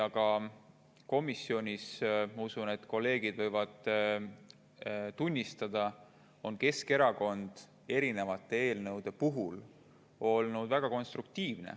Komisjonis – ma usun, et kolleegid võivad tunnistada – on Keskerakond erinevate eelnõude puhul olnud väga konstruktiivne.